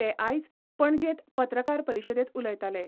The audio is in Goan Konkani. ते आयज पणजेंत पत्रकार परिशदेंत उलयताले.